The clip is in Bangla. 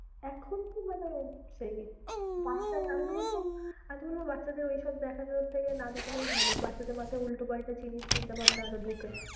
এখন তো মানে সেই আমি তো বলবো, আমি তো বলবো বাচ্চাদের ঐসব দেখানোর থেকে না দেখানোই ভালো, বাচ্চাদের মাথায় উল্টো-পাল্টা জিনিস চিন্তাভাবনা আরও ঢোকে।